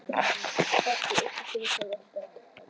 Mattý, einhvern tímann þarf allt að taka enda.